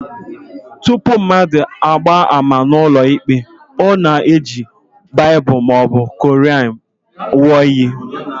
Tupu mmadụ agbaa ama n'ụlọikpe, ọ na-eji Baịbụl maọbụ Quran ṅụọ iyi